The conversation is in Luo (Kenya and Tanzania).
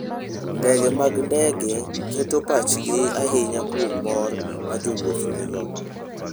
Ndege mag ndege keto pachgi ahinya kuom mor ma jowuoth nigo.